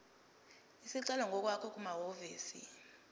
isicelo ngokwakho kumahhovisi